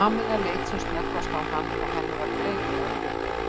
Kamilla leit sem snöggvast á hann og henni var greinilega brugðið.